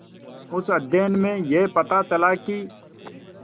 उस अध्ययन में यह पता चला कि